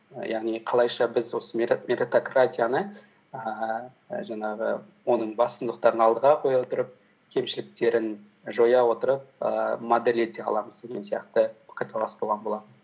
яғни қалайша біз осы меритократияны ііі жаңағы оның басындықтарын алдыға қоя отырып кемшіліктерін жоя отырып ііі модель ете аламыз деген сияқты пікірталас болған болатын